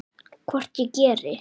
Hvort ég geri!